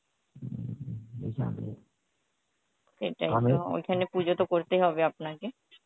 সেটাই ওইখানে পুজো তো করতেই হবে আপনাকে